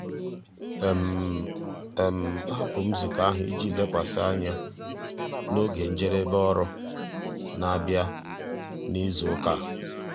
ahapụrụ m nzukọ ahụ iji lekwasị anya na oge njedebe ọrụ na-abịa n'izu ụka a.